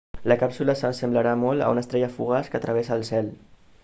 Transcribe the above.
la càpsula s'assemblarà molt a una estrella fugaç que travessa el cel